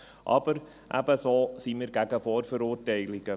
Aber ebenso sind wir gegen Vorverurteilungen.